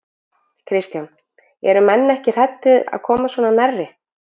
Kristján: Eru menn ekki hræddir að koma svona nærri?